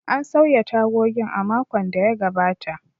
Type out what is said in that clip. An sauya tagogin a makon da ya gabata.